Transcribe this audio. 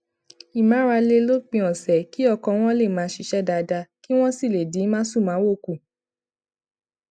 ìmárale lópin òsè kí ọkàn wọn lè máa ṣiṣé dáadáa kí wón sì lè dín másùnmáwo kù